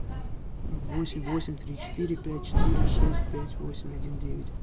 восемь восемь три четыре пять четыре шесть пять восемь один девять